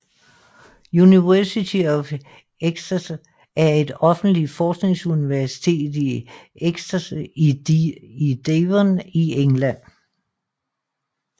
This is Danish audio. University of Exeter er et offentligt forskningsuniversitet i Exeter i Devon i England